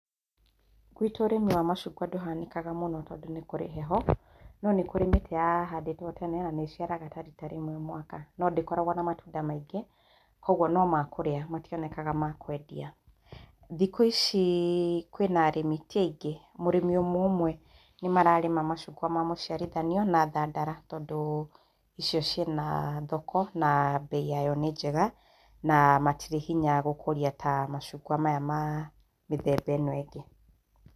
Gwitũ ũrĩmi wa macungwa ndũhanĩkaga mũno tondũ nĩkũrĩ heho no nĩkũrĩ mĩtĩ yahandĩtwe tene na nĩciara ta rita rĩmwe mwaka no ndĩkorwagwo na matunda maingĩ kwoguo nĩmakũrĩa matĩonekaga makwendea. Thikũ ici kwĩna arĩmi ti aingĩ, mũrĩmi ũmwe ũmwe mararĩma macungwa ma mũciarithanio ta thandara tondũ icio cina[uhh] thoko na bei yao nĩ njega na matire hinya gũkũria ta macungwa ma mũthemba ĩyo ĩngĩ.